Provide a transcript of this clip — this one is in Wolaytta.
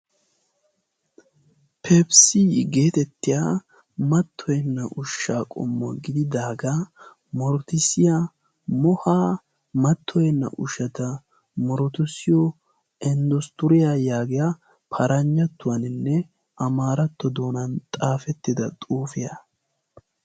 pefisii geetettiya mattoyenna ushshaa qommo gididaagaa mortissiyaa mohaa mattoyenna ushshata morotusiyo inddostturiyaa yaagiyaa paranjattuwaaninne amaaratto doonan xaafettida xuufiyaa.